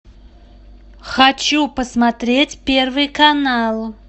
хочу посмотреть первый канал